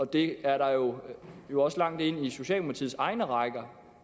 det er der jo jo også langt ind i socialdemokratiets egne rækker